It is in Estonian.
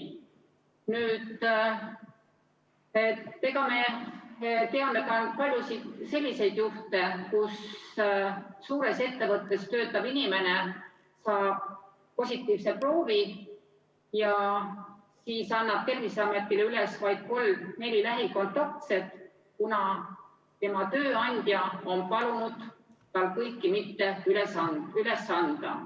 Me teame ka paljusid selliseid juhtumeid, kus suures ettevõttes töötav inimene saab positiivse testitulemuse ja siis annab Terviseametile üles vaid kolm-neli lähikontaktset, kuna tema tööandja on palunud tal kõiki mitte üles anda.